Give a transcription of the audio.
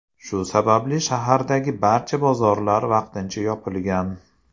Shu sababli shahardagi barcha bozorlar vaqtincha yopilgan.